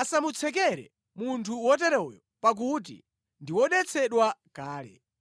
Asamutsekere munthu woteroyo pakuti ndi wodetsedwa kale.